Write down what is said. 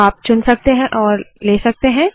तो आप चुन सकते और ले सकते है